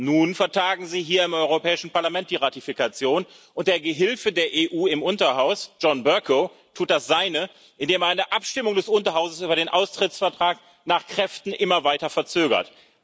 Nun vertagen Sie hier im Europäischen Parlament die Ratifikation, und der Gehilfe der EU im Unterhaus, John Bercow, tut das Seine, indem er eine Abstimmung des Unterhauses über den Austrittsvertrag nach Kräften immer weiter verzögert.